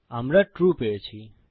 আমরা ট্রু পেয়েছি